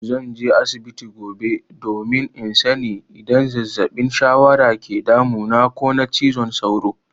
Zan je asibiti gobe domin in sani idan zazzabin shawara ke damuna ko na cizon sauro.